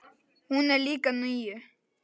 Hún er líka níu.